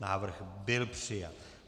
Návrh byl přijat.